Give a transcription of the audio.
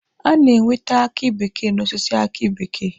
A na-enwete aki bekee n'osisi aki bekee